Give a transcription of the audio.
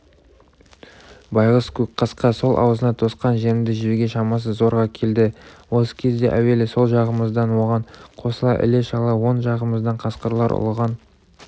байғұс көкқасқа сол аузына тосқан жемді жеуге шамасы зорға келді осы кезде әуелі сол жағымыздан оған қосыла іле-шала оң жағымыздан қасқырлар ұлыған